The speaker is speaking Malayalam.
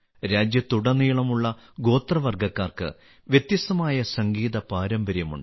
രാജ്യത്തുടനീളമുള്ള ഗോത്രവർഗക്കാർക്ക് വ്യത്യസ്തമായ സംഗീത പാരമ്പര്യമുണ്ട്